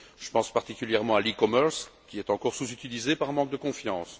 Je pense particulièrement à l'e commerce, qui est encore sous utilisé par manque de confiance.